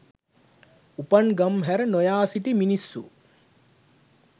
උපන් ගම් හැර නොයා සිටි මිනිස්සු